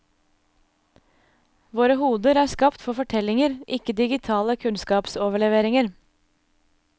Våre hoder er skapt for fortellinger, ikke digitale kunnskapsoverleveringer.